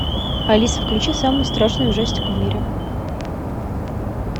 алиса включи самый страшный ужастик в мире